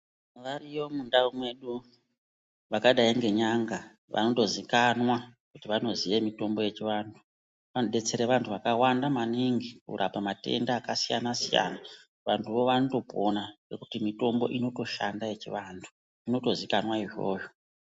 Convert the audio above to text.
Variyo mundau medu Vakadai ngen'anga vanotozikanwa kuti vanoziya mitombo yechivantu vanodetsera vantu vakawanda maningi kurapa matenda akasiyana siyana vantu vo vanopona ngekuti mitombo inoshanda yechivantu zvinotozivikanwa izvozvo.